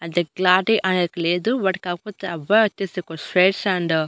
అయితే క్లారిటీ అనేది లేదు వాడు కాకపోతే అబ్బాయి వచ్చేసి ఒక స్పెట్స్ అండ్ --